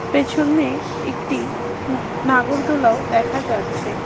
পেছনে একটি উ নাগরদোলাও দেখা যাচ্ছে।